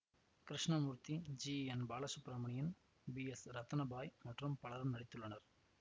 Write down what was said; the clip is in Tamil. Krishnamurthy G N Balasubramaniam P S Rathna Bai மற்றும் பலரும் நடித்துள்ளனர்